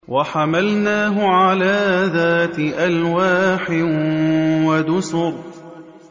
وَحَمَلْنَاهُ عَلَىٰ ذَاتِ أَلْوَاحٍ وَدُسُرٍ